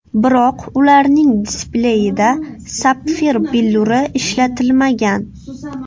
Biroq ularning displeyida sapfir billuri ishlatilmagan.